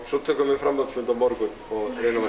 svo tökum við framhaldsfund á morgun og reynum að